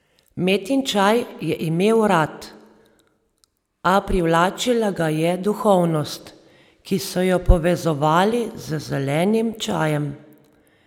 Metin čaj je imel rad, a privlačila ga je duhovnost, ki so jo povezovali z zelenim čajem.